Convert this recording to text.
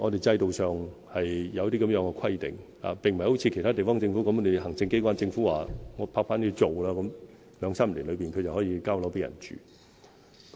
制度上是有這樣的規定，並不像其他地方政府那樣，行政機關及政府拍板後，兩三年內就有樓宇落成讓人們居住。